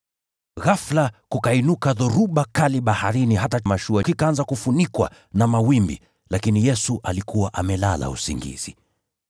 Ghafula, kukainuka dhoruba kali baharini hata mashua ikaanza kufunikwa na mawimbi, lakini Yesu alikuwa amelala usingizi.